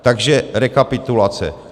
Takže rekapitulace.